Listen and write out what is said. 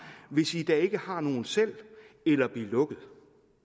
hvis i da ikke har nogen selv eller bliv lukket